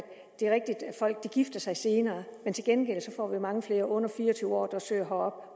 folk gifter sig senere men til gengæld får vi mange flere under fire og tyve år der søger